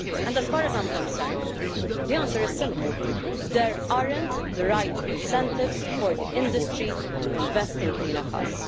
As far as I'm concerned, the answer is simple there aren't the right incentives for the industry to invest in cleaner cars.